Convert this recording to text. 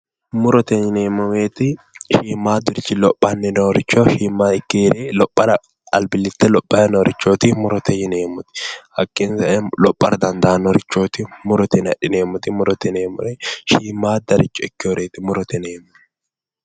Murote yinneemmo woyte shiimadurichi lophani noorichi mayi ikketi albilicho lophara ikkani noohu, hakkinni sae ba"ara dandaanorichoti murote yinne adhinneemmoti shiimaddare ikkinoreti murote yinne adhinneemmori.